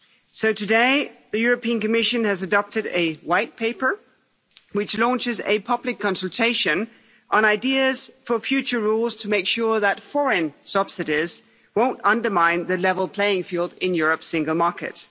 So today, the European Commission has adopted a White Paper, which launches a public consultation on ideas for future rules to make sure that foreign subsidies won't undermine the level playing field in Europe's single market.